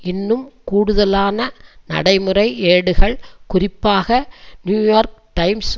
இன்னும் கூடுதலான நடைமுறை ஏடுகள் குறிப்பாக நியூ யோர்க் டைம்ஸ்